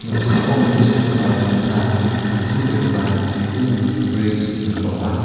noksao mesokgipa mingsa mingsingbegipa libing rut brij ingipa ong·a.